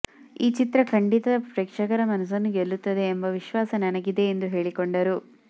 ಈ ಚಿತ್ರ ಖಂಡಿತ ಪ್ರೇಕ್ಷಕರ ಮನಸ್ಸನ್ನು ಗೆಲ್ಲುತ್ತದೆ ಎಂಬ ವಿಶ್ವಾಸ ನನಗಿದೆ ಎಂದು ಹೇಳಿಕೊಂಡರು